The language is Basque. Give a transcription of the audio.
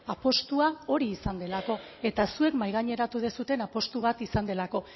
apustua hori izan delako eta hori zuek mahaigaineratu duzuen apustu bat izan delako